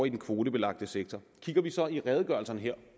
i den kvotebelagte sektor kigger vi så i redegørelserne her